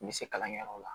N bɛ se kalankɛyɔrɔ la